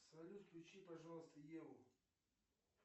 салют включи пожалуйста еву